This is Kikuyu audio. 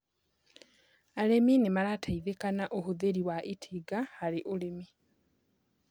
Arĩmi nĩmarateithika na ũhũthĩri wa itinga harĩurĩmi